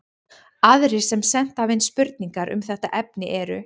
Aðrir sem sent hafa inn spurningar um þetta efni eru: